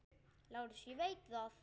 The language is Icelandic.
LÁRUS: Ég veit það.